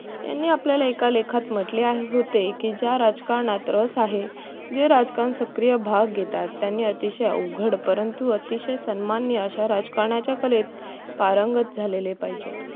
यांनी आपल्या लेखा मध्र्ये म्हटले होते ज्या राजकारणात रस आहे ते सक्रिय भाग घेतात त्यांनी अतिशय अवघड परंतु अतिशय सन्मानिय अशा राजकारणाच्या कलेत पारंगत झालेले पाहिजे